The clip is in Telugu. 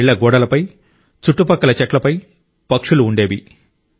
మన ఇళ్ల గోడలపై చుట్టుపక్కల చెట్లపై పక్షులు ఉండేవి